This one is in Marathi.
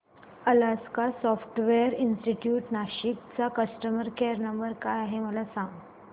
अलास्का सॉफ्टवेअर इंस्टीट्यूट नाशिक चा कस्टमर केयर नंबर काय आहे मला सांग